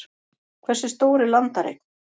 Hversu stór er landareign?